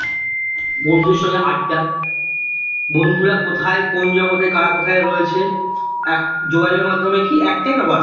বন্ধুদের সঙ্গে আড্ডা বন্ধুরা কোথায়? কোন জগতে? কারা কোথায় রয়েছে? এখন যোগাযোগের মাধ্যমে কি? একটাই না হোয়াটস্যাপ